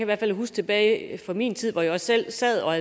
hvert fald huske tilbage fra den tid hvor jeg selv sad og